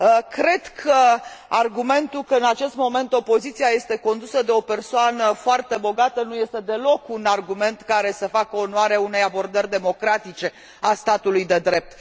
Cred că argumentul că în acest moment opoziția este condusă de o persoană foarte bogată nu este deloc un argument care să facă onoare unei abordări democratice a statului de drept.